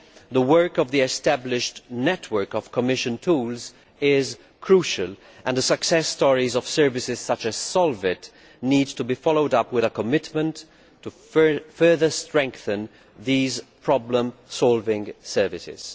The work of the established network of Commission tools is crucial here, and the success stories of services such as SOLVIT need to be followed up with a commitment to further strengthen these problem solving services.